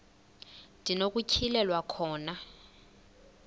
ndi nokutyhilelwa khona